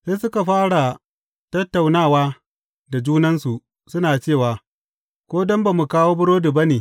Sai suka fara tattaunawa da junansu suna cewa, Ko don ba mu kawo burodi ba ne.